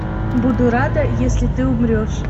буду рада если ты умрешь